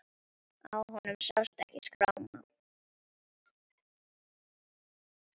Á honum sást ekki skráma.